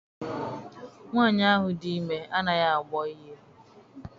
Nwaanyi ahụ dị ime anaghị agbọ ihe.